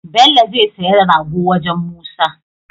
Bello zai siya rago wajan musa